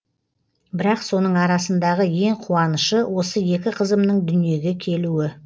бірақ соның арасындағы ең қуанышы осы екі қызымның дүниеге келуі